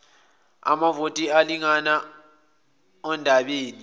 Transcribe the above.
amavoti elingana ondabeni